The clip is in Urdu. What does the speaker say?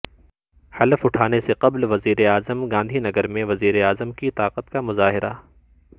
حلف اٹھانے سے قبل وزیراعظم گاندھی نگر میں وزیراعظم کی طاقت کا مظاہرہ